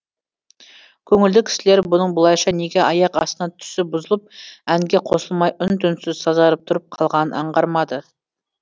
көңілді кісілер бұның бұлайша неге аяқ астынан түсі бұзылып әнге қосылмай үн түнсіз сазарып тұрып қалғанын аңғармады